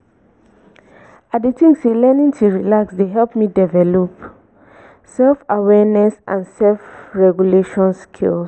i dey think say learning to relax dey help me develop self-awareness and self-regulation skills.